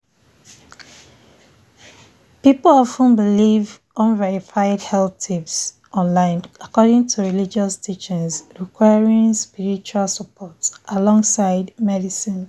people of ten believe unverified health tips online according to religious teachings requiring spiritual support alongside medicine.”